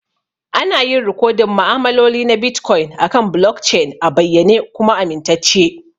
Ana yin rikodin ma'amaloli na Bitcoin akan blockchain a bayyane kuma amintacce.